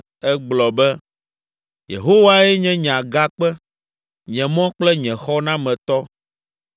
Egblɔ be: “Yehowae nye nye agakpe, nye mɔ kple nye xɔnametɔ.